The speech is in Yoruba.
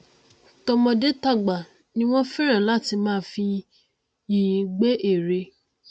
tọmọdé tàgbà ni wọn fẹràn láti máa fi yìnyín gbẹ ère